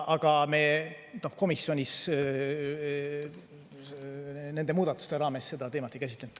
Aga nende muudatustega seoses me komisjonis seda teemat ei käsitlenud.